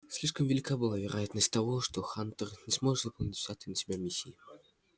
слишком велика была вероятность того что хантер не сможет выполнить взятой на себя миссии